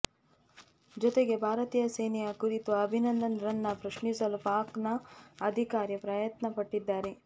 ಜೊತೆಗೆ ಭಾರತೀಯ ಸೇನೆಯ ಕುರಿತು ಅಭಿನಂದನ್ ರನ್ನ ಪ್ರಶ್ನಿಸಲು ಪಾಕ್ ನ ಅಧಿಕಾರಿ ಪ್ರಯತ್ನ ಪಟ್ಟಿದ್ದಾರೆ